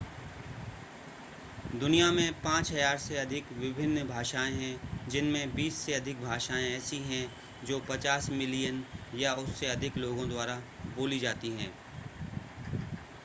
दुनिया में 5,000 से अधिक विभिन्न भाषाएं हैं जिनमें बीस से अधिक भाषाएं ऐसी हैं जो 50 मिलियन या उससे अधिक लोगो द्वारा बोली जाती हैं